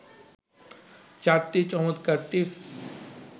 ৪টি চমৎকার টিপস